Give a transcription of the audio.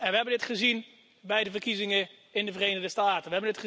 We hebben het gezien bij de verkiezingen in de Verenigde Staten.